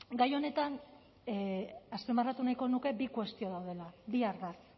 gai honetan azpimarratu nahiko nuke bi kuestio daudela bi ardatz